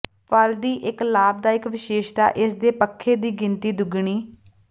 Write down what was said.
ਫਲ ਦੀ ਇੱਕ ਲਾਭਦਾਇਕ ਵਿਸ਼ੇਸ਼ਤਾ ਇਸ ਦੇ ਪੱਖੇ ਦੀ ਗਿਣਤੀ ਦੁੱਗਣੀ